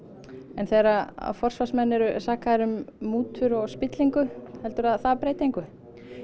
en þegar forsvarsmenn eru sakaðir um mútur og spillingu heldurðu að það breyti engu